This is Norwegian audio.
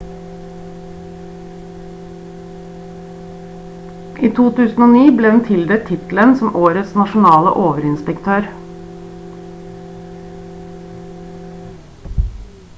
i 2009 ble hun tildelt tittelen som årets nasjonale overinspektør